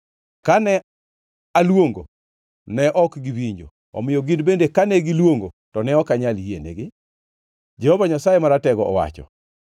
“ ‘Kane aluongo, ne ok giwinjo, omiyo gin bende kane giluongo to ne ok anyal yienegi,’ Jehova Nyasaye Maratego owacho.